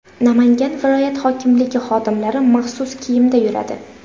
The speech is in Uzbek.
Namangan viloyat hokimligi xodimlari maxsus kiyimda yuradi.